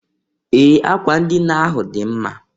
Ee! Akwa ndịna ahụ dị mma.